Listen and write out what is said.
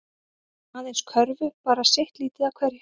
Aðeins körfu bara sitt lítið af hverju